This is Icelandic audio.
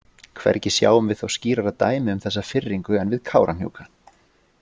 Hvergi sjáum við þó skýrara dæmi um þessa firringu en við Kárahnjúka.